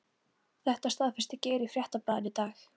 Þetta staðfesti Geir í Fréttablaðinu í dag.